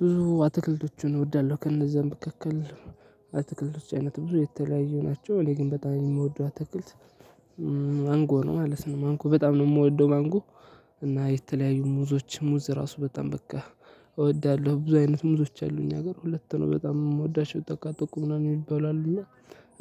ብዙ አትክልቶችን እወዳለው ከነዛ መካከል የአትክልቶች አይነት ብዙ የተለያዩ ናቸው። እኔ ግን በጣም የምወደው አትክልት ማንጎ ነው ማለት ነው። ማንጎ በጣም ነው የምወደው ማንጎ። እና የተለያዩ ሙዞች ሙዝ ራሱ በጣም በቃ። እወዳለሁ ብዙ አይነት ሙዞች አሉ። ሀገር ሁለት ነው በጣም የምወዳቸው ጠቃ ጠቆ ምናምን የሚባሉ አለ። እና